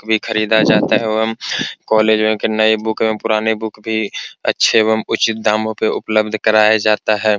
भी खरीदा जाता है एवं कॉलेज में नए बुक एवं पुराने बुक भी अच्छे एवं उचित दामों पे उपलब्ध कराया जाता है।